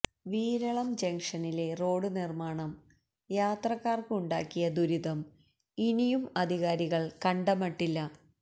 വീരളം ജംഗ്ഷനിലെ റോഡുനിർമ്മാണം യാത്രക്കാർക്ക് ഉണ്ടാക്കിയ ദുരിതം ഇനിയും അധികാരികൾ കണ്ടമട്ടില്ല